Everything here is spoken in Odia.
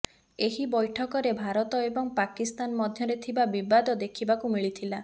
ଏହି ବୈଠକରେ ଭାରତ ଏବଂ ପାକିସ୍ତାନ ମଧ୍ୟରେ ଥିବା ବିବାଦ ଦେଖିବାକୁ ମିଳିଥିଲା